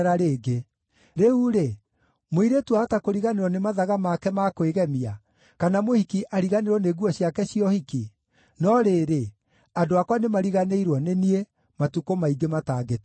Rĩu-rĩ, mũirĩtu ahota kũriganĩrwo nĩ mathaga make ma kwĩgemia, kana mũhiki ariganĩrwo nĩ nguo ciake cia ũhiki? No rĩrĩ, andũ akwa nĩmariganĩirwo nĩ niĩ, matukũ maingĩ matangĩtarĩka.